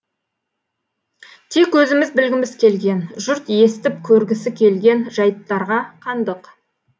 тек өзіміз білгіміз келген жұрт естіп көргісі келген жайттарға қандық